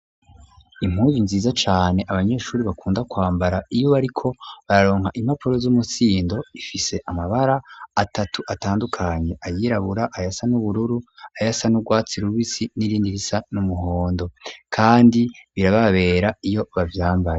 Impunzu nziza cane abanyeshure bakunda kwambara iyo bariko bararonka impapuro z'umusindo ifise amabara atatu atandukanye ayirabura, ayasa n'ubururu ayasa n'ugwatsi rubisi n'irindi risa n'umuhondo kandi birababera iyo bavyambaye.